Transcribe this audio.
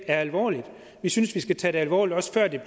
alvorligt vi synes vi skal tage det alvorligt også før det